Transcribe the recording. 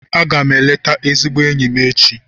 Aga m eleta ezigbo enyi m echi.